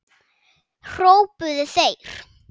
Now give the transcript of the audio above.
hrópuðu þeir.